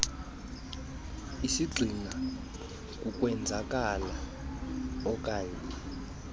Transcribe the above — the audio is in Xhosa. isigxina kukwenzakala oknaye